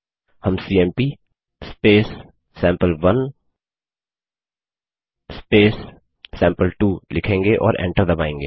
हम CMP sample one sample two लिखेंगे और एंटर दबायेंगे